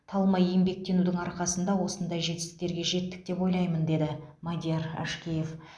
талмай еңбектенудің арқасында осындай жетістіктерге жеттік деп ойлаймын деді мадияр әшкеев